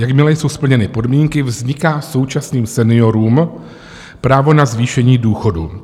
Jakmile jsou splněny podmínky, vzniká současným seniorům právo na zvýšení důchodu.